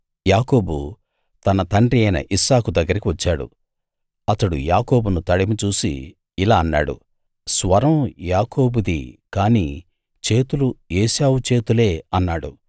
యాకోబు తన తండ్రి అయిన ఇస్సాకు దగ్గరికి వచ్చాడు అతడు యాకోబును తడిమి చూసి ఇలా అన్నాడు స్వరం యాకోబుది కానీ చేతులు ఏశావు చేతులే అన్నాడు